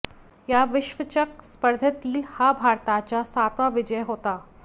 या विश्वचषक स्पर्धेतील हा भारताचा सातवा विजय होता